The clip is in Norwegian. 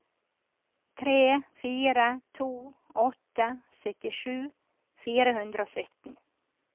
tre fire to åtte syttisju fire hundre og sytten